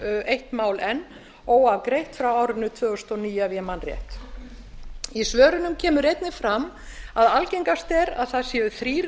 eitt mál enn óafgreitt frá árinu tvö þúsund og níu ef ég man rétt í svörunum kemur einnig fram að algengast sé að þrír